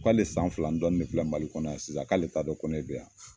k'ale san fila ni dɔni de filɛ Mali kɔnɔ yan sisan k'ale taa dɔn ko ne be yan